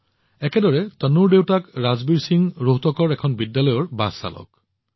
একেদৰে তনুৰ দেউতাক ৰাজবীৰ সিং ৰোহটকৰ এখন বিদ্যালয়ৰ বাছ চালক